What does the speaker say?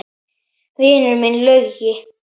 Vinur minn Laugi!